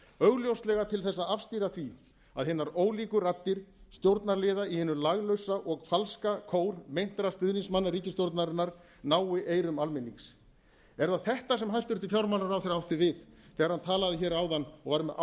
augljóslega til þess að afstýra því að hinar ólíku raddir stjórnarliða í hinum laglausa og falska kór meintra stuðningsmanna ríkisstjórnarinnar nái eyrum almennings er það þetta sem hæstvirtur fjármálaráðherra átti við þegar hann talaði hér áðan og var með